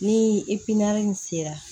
Ni in sera